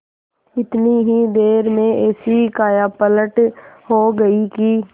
इतनी ही देर में ऐसी कायापलट हो गयी कि